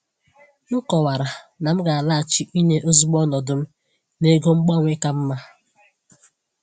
M kọwara na m ga-alaghachi inye ozugbo ọnọdụ m n’ego gbanwee ka mma.